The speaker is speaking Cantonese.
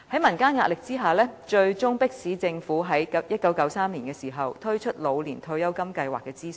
民間的壓力最終迫使政府在1993年就"老年退休金計劃"進行諮詢。